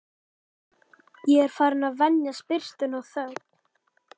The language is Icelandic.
Ég er farinn að venjast birtunni og þögn